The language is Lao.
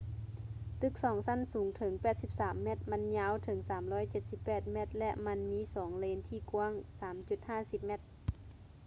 ຕຶກສອງຊັ້ນສູງເຖິງ 83 ແມັດ ມັນຍາວເຖິງ 378 ແມັດ ແລະ ມັນມີສອງເລນທີ່ກວ້າງ 3.50 ແມັດ